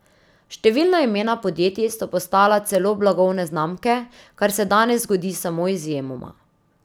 Številna imena podjetij so postala celo blagovne znamke, kar se danes zgodi samo izjemoma.